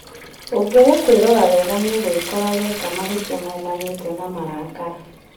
ũngĩaga kwĩrora wega nĩũgwĩkora weka mahĩtĩa maumanĩte na marakara